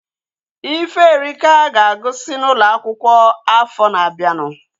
Iferika ga-agụsi n'ụlọ akwụkwọ afọ na-abianu